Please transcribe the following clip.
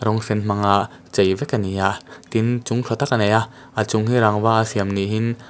rawng sen hmanga chei vek a ni a tin chung tha tak a nei a a chung hi rangva a siam niin--